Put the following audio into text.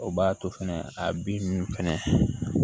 O b'a to fɛnɛ a bin ninnu fɛnɛ